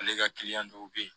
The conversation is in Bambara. Ale ka kiliyan dɔw bɛ yen